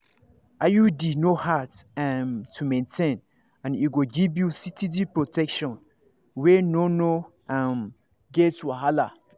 iud no hard um to maintain and e go give you steady protection wey no no um get wahala.